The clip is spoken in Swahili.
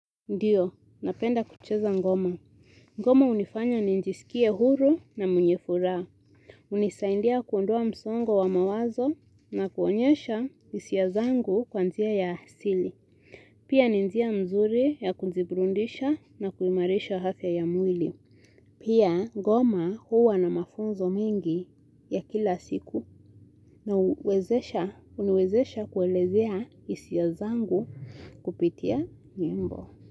Ndiyo, napenda kucheza ngoma. Ngoma hunifanya nijisikie huru na mwenye furaha. Unisaidia kuondoa msongo wa mawazo na kuonyesha hisia zangu kwa njia ya asili. Pia ni njia mzuri ya kujibrudisha na kuimarisha afya ya mwili. Pia ngoma huwa na mafunzo mingi ya kila siku na huniwezesha kuelezea hisi zangu kupitia nyimbo.